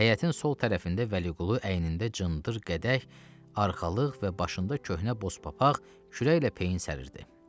Həyətin sol tərəfində Vəliqulu əynində cındır qədərək arxalıq və başında köhnə boz papaq kürə ilə peyin səriridi.